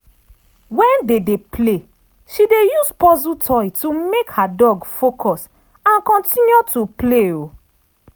when they dey play she dey use puzzle toy to make her dog focus and continue to play.